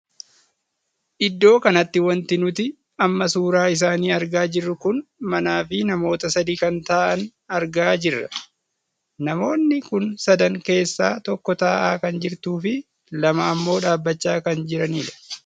Iddoo kanatti wanti nuti amma suuraa isaanii argaa jirru kun manaa fi namoota sadii kan taa'an argaa jirra. namoonni kun sadan keessaa tokko taa'aa kan jirtuu fi lama ammoo dhaabbachaa kan jiranidha.